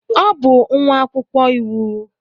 Ọ bụ nwa akwụkwọ iwu.